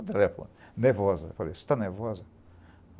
Mas ela é nervosa. Eu falei, você está nervosa?